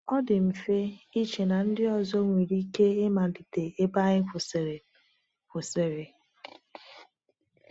Ọ dị mfe iche na ndị ọzọ nwere ike ịmalite ebe anyị kwụsịrị. kwụsịrị.